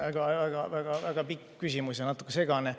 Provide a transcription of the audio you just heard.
See oli väga-väga pikk küsimus ja natuke segane.